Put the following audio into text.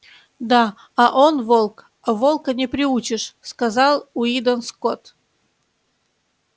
да а он волк а волка не приручишь сказал уидон скотт